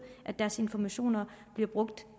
at deres informationer bliver brugt